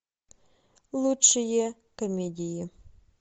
лучшие комедии